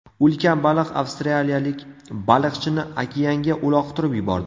Ulkan baliq avstraliyalik baliqchini okeanga uloqtirib yubordi.